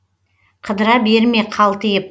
қыдыра берме қалтиып